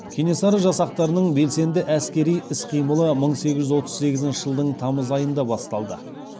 кенесары жасақтарының белсенді әскери іс қимылы мың сегіз жүз отыз сегізінші жылдың тамыз айында басталды